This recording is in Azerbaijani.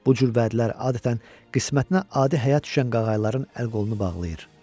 Bu cür vədlər adətən qismətinə adi həyat düşən qağayıların əl-qolunu bağlayır.